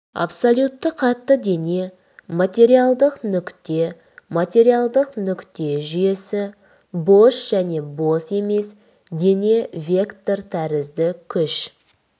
абсолютті қатты дене материалдық нүкте материалдық нүкте жүйесі бос және бос емес дене вектор тәрізді күш